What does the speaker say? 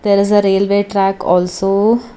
there is a railway track also.